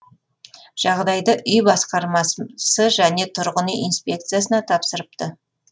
жағдайды үй басқарма және тұрғын үй инспекциясына тапсырыпты